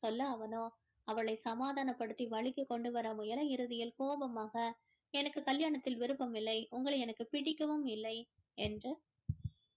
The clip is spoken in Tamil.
சொல்ல அவனோ அவளை சமாதானப் படுத்தி வழிக்கு கொண்டு வர முயல இறுதியில் கோபமாக எனக்கு கல்யாணத்தில் விருப்பமில்லை உங்களை எனக்கு பிடிக்கவும் இல்லை என்று